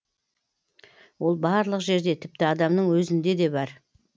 ол барлық жерде тіпті адамның өзінде де бар